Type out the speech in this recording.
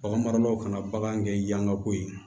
Bagan maralaw kana bagan kɛ yanga ko ye